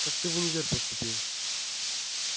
как ты в универ поступил